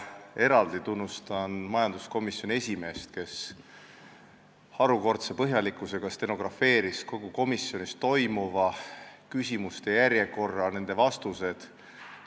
Eraldi tunnustan majanduskomisjoni esimeest, kes harukordse põhjalikkusega luges ette stenogrammi kogu komisjonis toimunud arutelu kohta, järjekorras küsimused ja nende vastused.